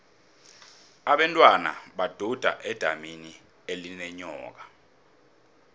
abentwana baduda edamini elinenyoka